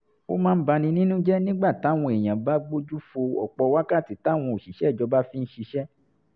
ó máa ń bani nínú jẹ́ nígbà táwọn èèyàn bá gbójú fo ọ̀pọ̀ wákàtí táwọn òṣìṣẹ́ ìjọba fi ń ṣiṣẹ́